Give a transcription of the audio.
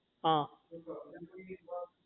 હા